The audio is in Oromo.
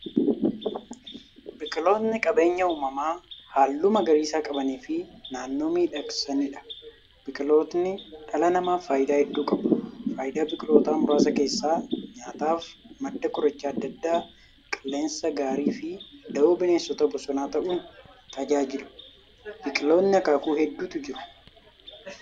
Biqiltootni qabeenya uumamaa haalluu magariisa qabaniifi naannoo miidhagsaniidha. Biqiltootni dhala namaaf faayidaa hedduu qabu. Faayidaa biqiltootaa muraasa keessaa; nyaataaf, madda qorichoota adda addaa, qilleensa gaariifi dawoo bineensota bosonaa ta'uun tajaajilu. Biqiltootni akaakuu hedduutu jiru.